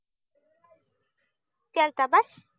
केलता बस